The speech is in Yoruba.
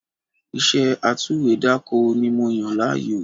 Iṣẹ́ atúwèédàkọ ni mo yàn láàyò